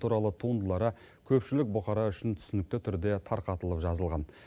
туралы туындылары көпшілік бұқара үшін түсінікті түрде тарқатылып жазылған